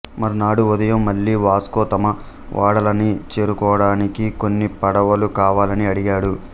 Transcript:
మర్నాడు ఉదయం మళ్లీ వాస్కో తమ ఓడలని చేరుకోడానికి కొన్ని పడవలు కావాలని అడిగాడు